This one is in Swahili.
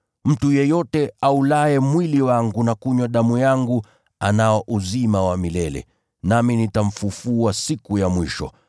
Mtu yeyote aulaye mwili wangu na kunywa damu yangu, anao uzima wa milele. Nami nitamfufua siku ya mwisho.